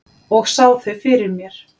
Og sá þau fyrir mér.